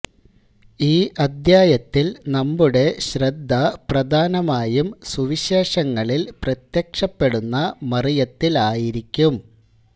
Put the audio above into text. ഈ അധ്യായത്തിൽ നമ്മുടെ ശ്രദ്ധ പ്രധാനമായും സുവിശേഷങ്ങളിൽ പ്രത്യക്ഷപ്പെടുന്ന മറിയത്തിലായിരിക്കും